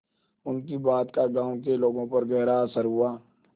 उनकी बात का गांव के लोगों पर गहरा असर हुआ